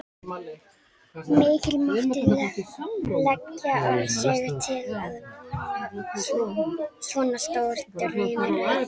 Mikið mátti leggja á sig til að svona stór draumur rættist.